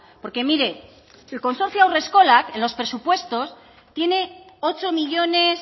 porque mire el consorcio haurreskolak en los presupuestos tiene ocho millónes